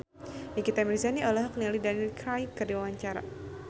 Nikita Mirzani olohok ningali Daniel Craig keur diwawancara